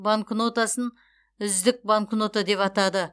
банкнотасын үздік банкнота деп атады